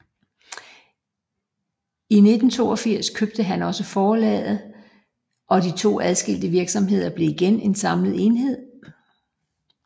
I 1982 købte han også forlaget og de to adskilte virksomheder blev igen en samlet enhed